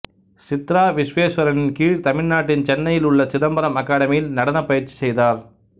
சித்ரா விஸ்வேஸ்வரனின் கீழ் தமிழ்நாட்டின் சென்னையில் உள்ள சிதம்பரம் அகாடமியில் நடனப் பயிற்சி செய்தார்